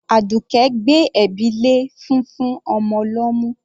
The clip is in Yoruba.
Àdùkẹ́ gbé ẹ̀bi lé fúnfún ọmọ lọ́mú.